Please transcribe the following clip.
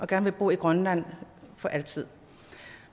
gerne bo i grønland for altid